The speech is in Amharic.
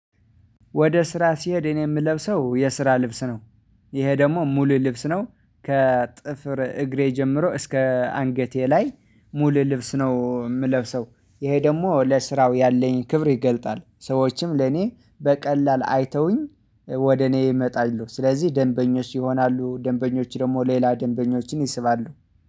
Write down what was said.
ወደ ስራ ሲሄድ እኔ ምለብሰው የስራ ልብስ ነው። ይሄ ደግሞ ሙሉ ልብስ ነው። ከጥፍር እግሬ ጀምሮ እስከ አንገቴ ላይ ሙሉ ልብስ ነው የምለብሰው። ይሄ ደግሞ ለስራው ያለኝ ክብር ይገልጣል ሰዎችም ለኔ በቀላል አይተውኝ ወደ እኔ እመጣለሁ። ስለዚህ ደንበኞች ይሆናሉ ደንበኞች ደግሞ ሌላ ደንበኞችን ይስባሉ